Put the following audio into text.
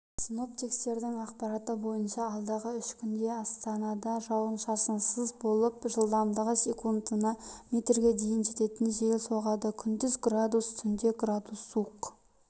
синоптиктердің ақпараты бойынша алдағы үш күнде астанда жауын-шашынсыз болып жылдамдығы секундына метрге дейін жететін жел соғады күндіз градус түнде градус суық